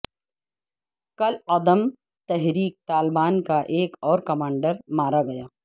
کالعدم تحریک طالبان کا ایک اور کمانڈر مارا گیا